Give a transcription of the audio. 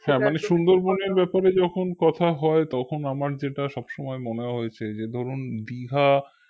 হ্যা মানে সুন্দরবনের ব্যাপারে যখন কথা হয় তখন আমার যেটা সবসময় মনে হয়েছে যে ধরুন দিঘা